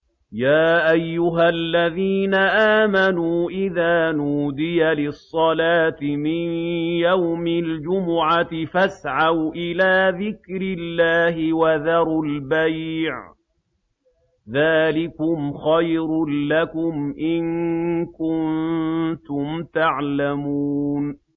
يَا أَيُّهَا الَّذِينَ آمَنُوا إِذَا نُودِيَ لِلصَّلَاةِ مِن يَوْمِ الْجُمُعَةِ فَاسْعَوْا إِلَىٰ ذِكْرِ اللَّهِ وَذَرُوا الْبَيْعَ ۚ ذَٰلِكُمْ خَيْرٌ لَّكُمْ إِن كُنتُمْ تَعْلَمُونَ